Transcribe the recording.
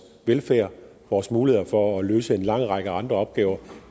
velfærd og vores muligheder for at løse en lang række andre opgaver